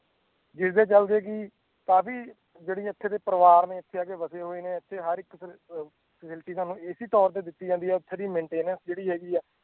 ਜਿਸਦੇ ਚੱਲਦੇ ਕਿ ਕਾਫ਼ੀ ਜਿਹੜੀ ਇੱਥੇ ਦੇ ਪਰਿਵਾਰ ਨੇ ਇੱਥੇ ਆ ਕੇ ਵਸੇ ਹੋਏ ਨੇ, ਇੱਥੇ ਹਰ ਅਹ facility ਸਾਨੂੰ ਇਸੇ ਤੌਰ ਤੇ ਦਿੱਤੀ ਜਾਂਦੀ ਹੈ ਇੱਥੇ ਦੀ maintenance ਜਿਹੜੀ ਹੈਗੀ ਹੈ